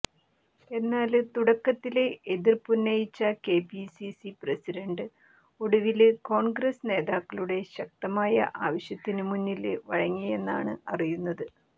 എന്നാല് തുടക്കത്തില് എതിര്പ്പുന്നയിച്ച കെപിസിസി പ്രസിഡന്റ് ഒടുവില് കോണ്ഗ്രസ് നേതാക്കളുടെ ശക്തമായ ആവശ്യത്തിനു മുന്നില് വഴങ്ങിയെന്നാണ് അറിയുന്നത്